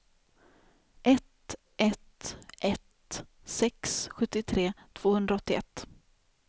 ett ett ett sex sjuttiotre tvåhundraåttioett